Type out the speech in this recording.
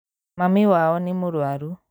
Mami wao nĩ mũrwaru